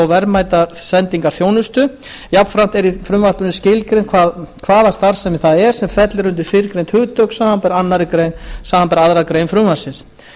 verðmætasendingarþjónustu jafnframt er í frumvarpinu skilgreint hvaða starfsemi það er sem fellur undir fyrrgreind hugtök samanber aðra grein frumvarpsins